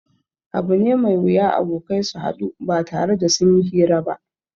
Abu ne mai wuya abokai su haɗu ba tare da sun yi hira ba